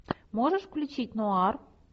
можешь включить нуар